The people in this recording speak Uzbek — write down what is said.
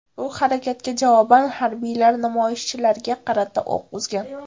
Bu harakatga javoban harbiylar namoyishchilarga qarata o‘q uzgan.